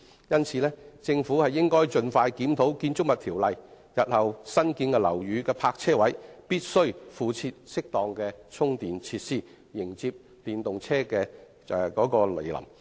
因此，政府應該盡快檢討《建築物條例》，日後新建樓宇的泊車位必須附設適當的充電設施，迎接電動車的來臨。